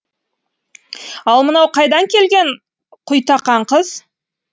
ал мынау қайдан келген құйтақан қыз